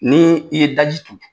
Ni i ye daji tu.